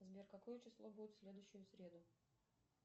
сбер какое число будет в следующую среду